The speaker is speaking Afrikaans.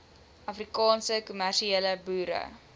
afrikaanse kommersiële boere